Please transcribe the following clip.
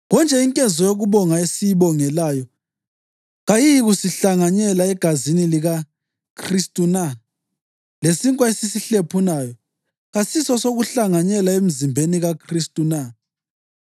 Konje inkezo yokubonga esiyibongelayo kayisikuhlanganyela egazini likaKhristu na? Lesinkwa esisihlephunayo kasisisokuhlanganyela emzimbeni kaKhristu na?